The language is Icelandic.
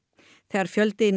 þegar fjöldi